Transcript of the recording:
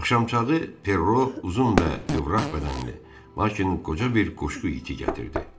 Axşamçağı Ferro uzun və qıvraq bədənli, lakin qoca bir qoşqu iti gətirdi.